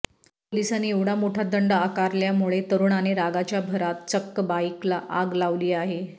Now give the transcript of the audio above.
पोलिसांनी एवढा मोठा दंड आकारल्यामुळे तरुणाने रागाच्या भरात चक्क बाईकला आग लावली आहे